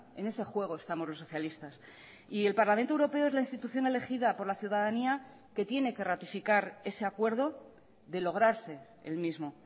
en ese juego estamos los socialistas y el parlamento europeo es la institución elegida por la ciudadanía que tiene que ratificar ese acuerdo de lograrse el mismo